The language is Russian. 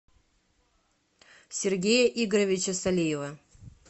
сергея игоревича солиева